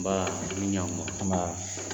Nbaa i ni ɲankuma nbaa.